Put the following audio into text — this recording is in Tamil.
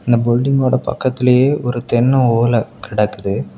இந்த புல்டிங் ஓட பக்கத்திலேயே ஒரு தென்னை ஓல கிடக்குது.